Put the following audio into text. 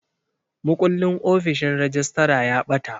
Mukullin ofishin rejistra ya ɓata.